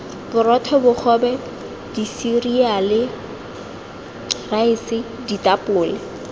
borotho bogobe diseriale raese ditapole